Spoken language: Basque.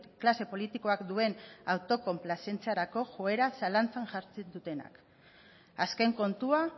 klase politikoak duen autokonplazentziarako joera zalantzan jartzen dutenak azken kontua